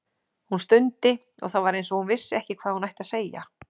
Hún stundi og það var eins og hún vissi ekki hvað hún ætti að segja.